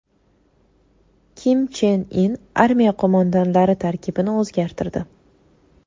Kim Chen In armiya qo‘mondonlari tarkibini o‘zgartirdi.